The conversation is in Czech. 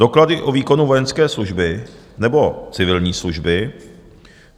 doklady o výkonu vojenské služby nebo civilní služby;